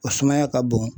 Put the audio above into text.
O sumaya ka bon